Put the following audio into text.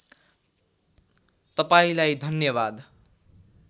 तपाईँलाई धन्यवाद